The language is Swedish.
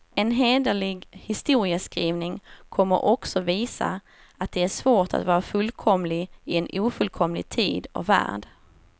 En hederlig historieskrivning kommer också visa, att det är svårt att vara fullkomlig i en ofullkomlig tid och värld.